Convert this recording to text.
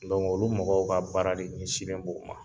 Dɔnku olu mɔgɔw ka baara de ɲɛnsi le do o ma